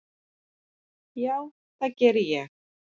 Já, það geri ég